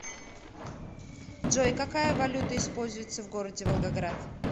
джой какая валюта используется в городе волгоград